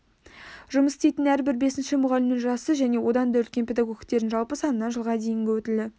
жұмыс істейтін әрбір бесінші мұғалімнің жасы және одан да үлкен педагогтердің жалпы санынан жылға дейінгі өтілі